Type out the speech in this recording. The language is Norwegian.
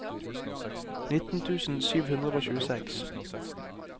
nitten tusen sju hundre og tjueseks